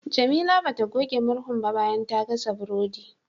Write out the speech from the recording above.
Jamila bata goge murhun ba bayan ta gasa burodi.